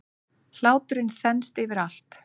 Hláturinn þenst yfir allt.